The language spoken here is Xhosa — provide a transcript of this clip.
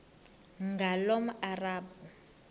ngulomarabu